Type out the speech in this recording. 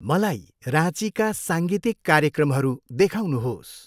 मलाई राँचीका साङ्गीतिक कार्यक्रमहरू देखाउनुहोस्।